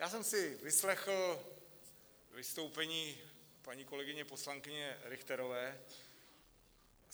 Já jsem si vyslechl vystoupení paní kolegyně poslankyně Richterové.